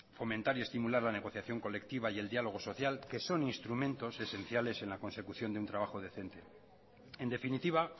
fomentar y estimular la negociación colectiva y el diálogo social que son instrumentos esenciales en la consecución de un trabajo decente en definitiva